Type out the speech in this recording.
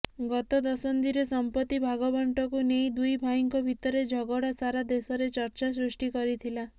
ଗତ ଦଶନ୍ଧିରେ ସମ୍ପତ୍ତି ଭାଗବଣ୍ଟାକୁ ନେଇ ଦୁଇ ଭାଇଙ୍କ ଭିତରେ ଝଗଡ଼ା ସାରା ଦେଶରେ ଚର୍ଚ୍ଚା ସୃଷ୍ଟି କରିଥିଲା